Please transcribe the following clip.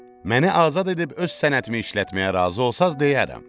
Məni azad edib öz sənətimi işlətməyə razı olsanız, deyərəm.